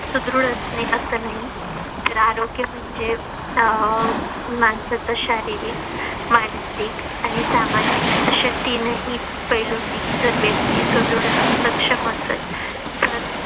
सुदृढ असणे असं नाही तर आरोग्य म्हणजे अह माणसंच शारीरिक, मानसिक आणि सामाजिक असे तीन ही पैलूंनी जर व्यक्ती सुदृढ आणि सक्षम असेल